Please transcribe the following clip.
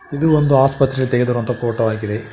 ಇದು ಒಂದು ಆಸ್ಪತ್ರೆ ತೆಗೆದಿರುವಂತಹ ಫೋಟೋ ಆಗಿದೆ.